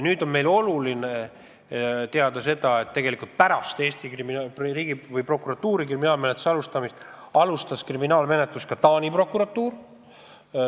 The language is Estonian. Meile on oluline teada sedagi, et pärast kriminaalmenetluse alustamist Eesti prokuratuuris käivitas kriminaalmenetluse ka Taani prokuratuur.